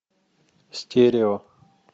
стерео